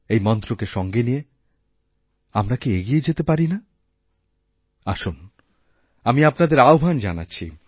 এই মন্ত্রকে সঙ্গে নিয়ে আমরা কি এগিয়ে যেতেপারি না আসুন আমি আপনাদের আহ্বান জানাচ্ছি